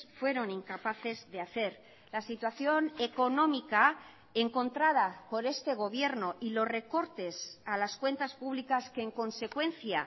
fueron incapaces de hacer la situación económica encontrada por este gobierno y los recortes a las cuentas públicas que en consecuencia